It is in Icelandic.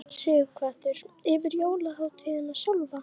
Sighvatur: Yfir jólahátíðina sjálfa?